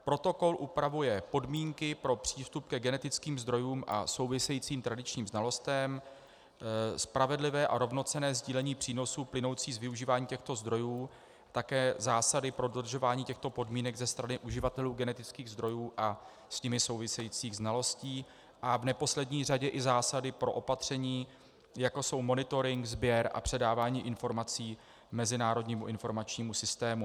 Protokol upravuje podmínky pro přístup ke genetickým zdrojům a souvisejícím tradičním znalostem, spravedlivé a rovnocenné sdílení přínosů plynoucích z využívání těchto zdrojů, také zásady pro dodržování těchto podmínek ze strany uživatelů genetických zdrojů a s nimi souvisejících znalostí a v neposlední řadě i zásady pro opatření, jako jsou monitoring, sběr a předávání informací mezinárodnímu informačnímu systému.